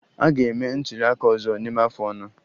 A ga-eme ntuli aka ọzọ n'ime afọ anọ.